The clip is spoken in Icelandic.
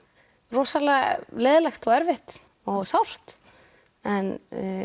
rosalega leiðinlegt og erfitt og sárt en